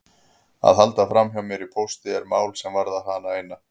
Að halda framhjá mér í pósti er mál sem varðar hana eina.